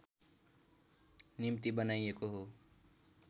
निम्ति बनाइएको हो